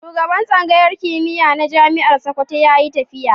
Shugaban Tsangayar kimiyya na Jami'ar Sakkwato ya yi tafiya.